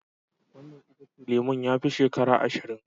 Wannan itacen lemun ya fi shekara ashirin.